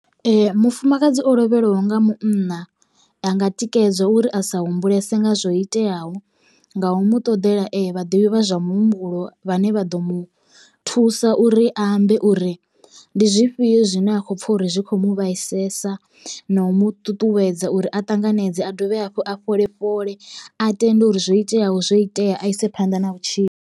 Mufumakadzi o lovheliwa nga munna a nga tikedzwa uri a sa humbulese nga zwo iteaho nga u mu ṱoḓela vhaḓivhi vha zwa muhumbulo vhane vha ḓo mu thusa uri a ambe uri ndi zwifhio zwine a khou pfha uri zwi khou muvhaisesa na u muṱuṱuwedza uri a ṱanganedze a dovhe hafhu a fhole fhole a tende uri zwo iteyaho zwo itea a ise phanḓa na vhutshilo.